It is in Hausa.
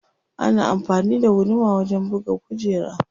Ana amfani da guduma wajen buga kujera.